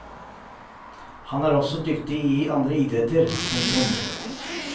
Han er også dyktig i andre idretter. punktum